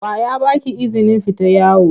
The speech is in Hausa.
Wa ya ba ki izinin fita yawo?